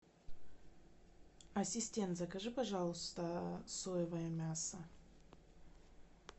ассистент закажи пожалуйста соевое мясо